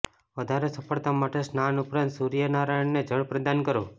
વધારે સફળતા માટે સ્નાન ઉપરાંત સૂર્ય નારાયણને જળ પ્રદાન કરો